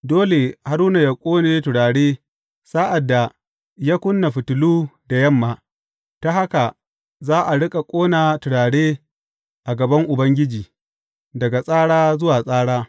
Dole Haruna yă ƙone turare sa’ad da ya ƙuna fitilu da yamma, ta haka za a riƙa ƙona turare a gaban Ubangiji, daga tsara zuwa tsara.